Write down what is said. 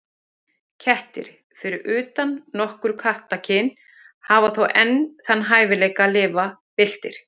Kettir, fyrir utan nokkur kattakyn, hafa þó enn þann hæfileika að lifa villtir.